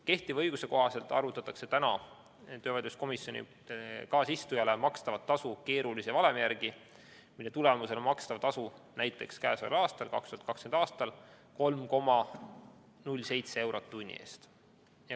Kehtiva õiguse kohaselt arvutatakse töövaidluskomisjoni kaasistujale makstavat tasu keerulise valemi järgi, mille tulemusena makstav tasu näiteks käesoleval, 2020. aastal on 3,07 eurot tunni eest.